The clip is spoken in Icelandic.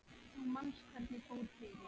Þú manst hvernig fór fyrir